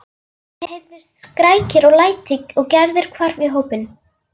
Það heyrðust skrækir og læti og Gerður hvarf í hópinn.